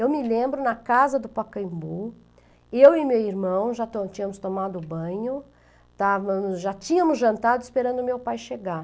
Eu me lembro, na casa do Pacaembu, eu e meu irmão já to tínhamos tomado banho, já estavamos, já tínhamos jantado esperando o meu pai chegar.